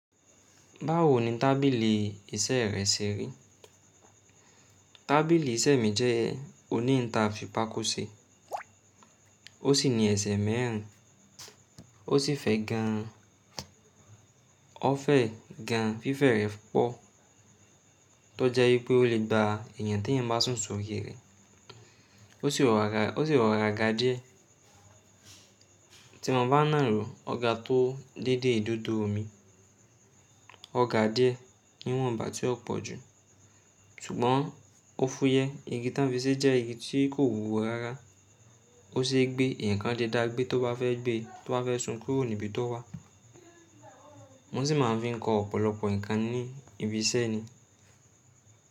Báwo ni tábìlì iṣẹ́ rẹ ṣeri? Tábìlì iṣẹ́ mi jẹ́ oní ìta fì pako ṣe, ó sì ní ẹsẹ̀ mẹ́rin, ó sì fẹ́ gan, ó fẹ́ gan fífẹ́ rẹ pọ̀ tó jẹ́ wípé ó le gba èèyàn tí èèyàn bá sùn sórí rẹ̀. Ó sì rọra ga díẹ̀ tí mo bá ń nà á ró, ọ ga tó déédé idodo mi, ọ ga díẹ̀ níwọ̀n ìgbà tí ó pọ̀ jù. Ṣùgbọ́n ó fúyẹ́, igi tan fi ṣe jẹ́ igi tí kò wúwo rárá. Ó sì gbé eyaan ǹkan le dá gbé tó bá fẹ́ gbé, tó fẹ́ sùn kúrò níbi tó wà. Wọ́n sì máa ń fi kọ ọ̀pọ̀lọpọ̀ ǹkan ní ibi iṣẹ́ ni.